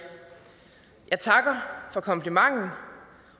jeg takker for komplimenten